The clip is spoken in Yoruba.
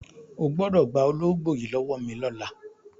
O gbọ́dọ̀ gba ológbò yìí lọ́wọ́ mi lọ́la!